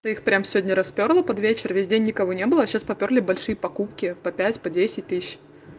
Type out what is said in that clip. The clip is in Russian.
то их прямо сегодня распёрло под вечер весь день никого не было а сейчас попёрли большие покупки по пять по десять тысяч